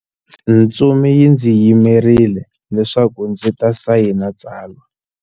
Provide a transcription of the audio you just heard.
Ntsumi yi ndzi yimerile leswaku ndzi ta sayina tsalwa.